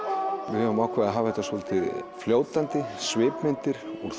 við höfum ákveðið að hafa þetta svolítið fljótandi svipmyndir úr